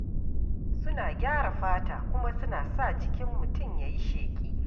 Suna gyara fata kuma suna sa jikin mutum ya yi sheƙi.